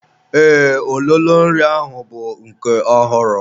Ee, ololo nri ahụ bụ nke ọhụrụ.